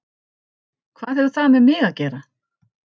Hvað hefur það með mig að gera?